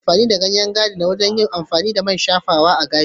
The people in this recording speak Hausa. Ana amfani da ganyen dogonyaro wajen yin man shafawa a gashi.